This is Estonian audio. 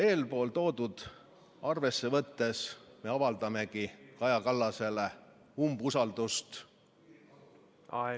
Eelpool toodut arvesse võttes avaldamegi Kaja Kallasele umbusaldust.